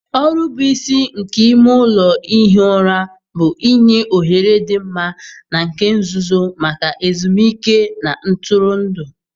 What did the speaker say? Ọrụ bụ isi nke ime ụlọ ihi ụra bụ inye ohere dị mma na nke nzuzo maka ezumike na ntụrụndụ.